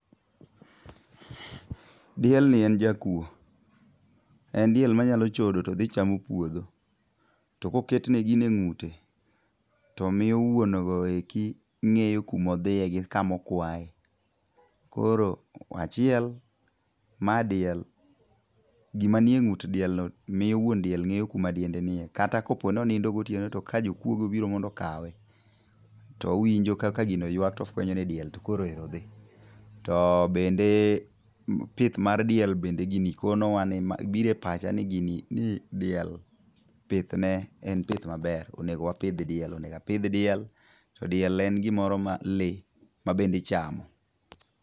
Dielni en jakwo. En diel manyalo chodo to dhi chamo puodho. To koketne gini e ngúte, to miyo wuongo eki ngéyo kuma odhiye, gi kuma okwae. Koro achiel, ma diel, gima ni e ngút dielno miyo won diel ngéyo kuma dielnde nie. Kata koponi onindo gotieno to ka jokwoge obiro mondo okawe, to owinjo kaka gino ywak, to ofwenyo ni diel to koro ero dhi. To bende pith mar diel bende gini konowa ni biro e pacha ni gini, ni diel pithne en pith maber. Onego wapidh diel, onego apidh diel, to diel en gimoro ma le ma bende ichamo.